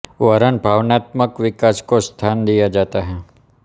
वरन भावनात्मक विकास को स्थान दिया जाता है